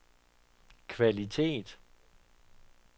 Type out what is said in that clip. kvalitet